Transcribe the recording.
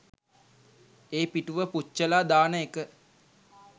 ඒ පිටුව පුච්චලා දාන එක